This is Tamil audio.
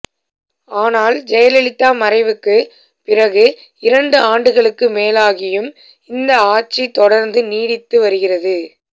ஆனால் ஜெயலலிதா மறைவுக்குப் பிறகு இரண்டு ஆண்டுகளுக்கு மேலாகியும் இந்த ஆட்சி தொடர்ந்து நீடித்து வருகிறது